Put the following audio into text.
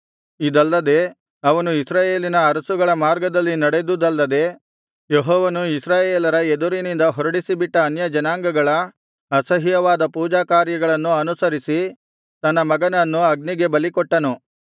ಇದಲ್ಲದೆ ಅವನು ಇಸ್ರಾಯೇಲಿನ ಅರಸುಗಳ ಮಾರ್ಗದಲ್ಲಿ ನಡೆದುದಲ್ಲದೆ ಯೆಹೋವನು ಇಸ್ರಾಯೇಲರ ಎದುರಿನಿಂದ ಹೊರಡಿಸಿಬಿಟ್ಟ ಅನ್ಯಜನಾಂಗಗಳ ಅಸಹ್ಯವಾದ ಪೂಜಾಕಾರ್ಯಗಳನ್ನು ಅನುಸರಿಸಿ ತನ್ನ ಮಗನನ್ನು ಅಗ್ನಿಗೆ ಬಲಿಕೊಟ್ಟನು